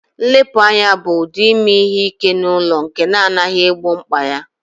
Nlepu anya bụ ụdị ime ihe ike n'ụlọ nke na-anaghị egbo mkpa ya